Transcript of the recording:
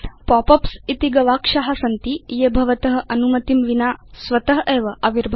pop ups इति गवाक्षा सन्ति ये भवत अनुमतिं विना स्वत एव आविर्भवन्ति